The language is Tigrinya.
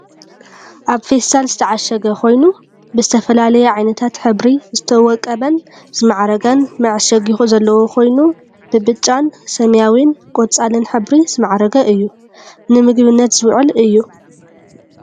ኣብ ፊስታል ዝተዓሸገ ኮይኑ ብዝተፈላለየ ዓይነታት ሕብሪ ዝወቀበን ዝማዕረገን መዐሸጊ ዘለዎ ኮይኑ ብብጫን ሰማያዊን ቆፃልን ሕብሪ ዝመዕረገ እዩ። ዝምግብነት ዝውዕል እዩ።